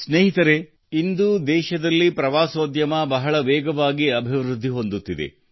ಸ್ನೇಹಿತರೆ ಇಂದು ದೇಶದಲ್ಲಿ ಪ್ರವಾಸೋದ್ಯಮ ಬಹಳ ವೇಗವಾಗಿ ಅಭಿವೃದ್ಧಿಹೊಂದುತ್ತಿದೆ